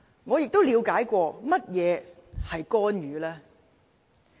我嘗試了解過何謂干預。